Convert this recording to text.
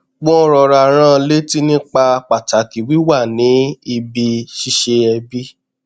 wọn rọra rán an létí nípa pàtàkì wíwà ní ibi ṣíṣe ẹbi